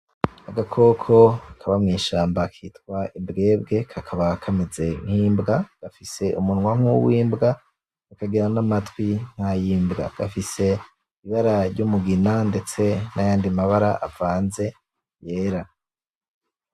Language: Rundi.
Agakoko kaba mwishamba kitwa imbwebwe kaba kameze nkimbwa, gafise umunwa nkuw'imbwa, kakagira namatwi nkayimbwa gafise ibara ryumugina ndetse nayandi mabara avanze yera.